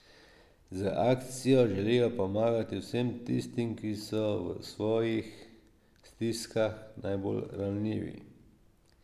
Z akcijo želijo pomagati vsem tistim, ki so v svojih stiskah najbolj ranljivi.